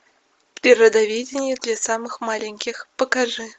природоведение для самых маленьких покажи